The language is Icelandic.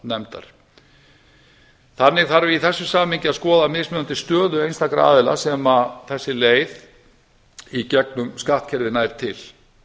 viðskiptanefndar þannig þarf í þessu samhengi að skoða mismunandi stöðu einstakra aðila sem þessi leið í gegnum skattkerfið nær til